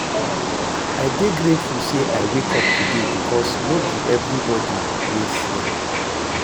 I dey grateful say I wake up today bikos no bi evribodi wey see am